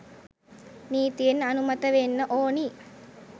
නීතියෙන් අනුමත වෙන්න ඕනි.